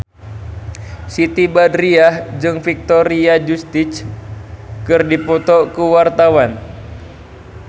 Siti Badriah jeung Victoria Justice keur dipoto ku wartawan